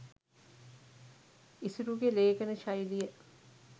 ඉසුරුගෙ ලේඛන ශෛලිය